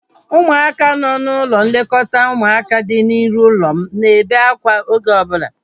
Ụmụaka nọ n'ụlọ nlekọta ụmụaka dị n'iru ụlọ m na-ebe akwa oge ọbụla